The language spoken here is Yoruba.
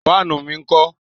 Fáànù mi ńkọ́?